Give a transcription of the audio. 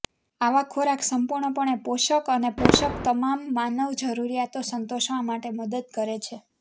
આવા ખોરાક સંપૂર્ણપણે પોષક અને પોષક તમામ માનવ જરૂરિયાતો સંતોષવા માટે મદદ કરે છે